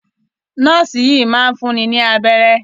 Nọ́ọ́sì sì yìí máa ń fúnni ní abẹ́rẹ́.